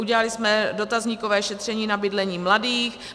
Udělali jsme dotazníkové šetření na bydlení mladých.